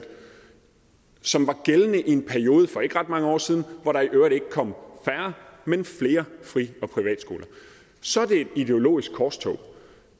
som var gældende i en periode for ikke ret mange år siden hvor der i øvrigt ikke kom færre men flere fri og privatskoler så er det et ideologisk korstog